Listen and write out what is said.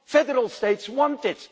Federal states want it.